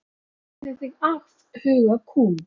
Það gerði þig afhuga kúm.